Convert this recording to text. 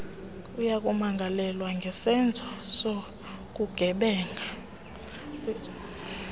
uyakumangalelwa ngesenzo sobugebenga